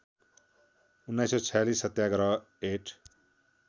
१९४६ सत्याग्रह ऐट